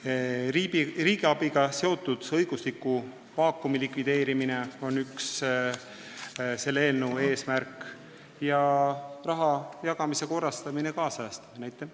Selle eelnõu üks eesmärke on riigiabiga seotud õigusliku vaakumi likvideerimine ning raha jagamise korrastamine ja kaasajastamine.